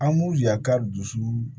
An m'u ya ka dusu